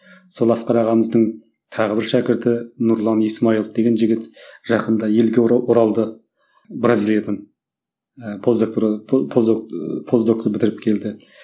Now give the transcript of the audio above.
сол асқар ағамыздың тағы бір шәкірті нұрлан исмаилов деген жігіт жақында елге оралды бразилиядан ыыы поздокты бітіріп келді